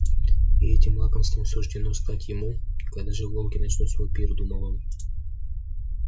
и этим лакомством суждено стать ему когда же волки начнут свой пир думал он